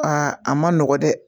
Aa a ma nɔgɔn dɛ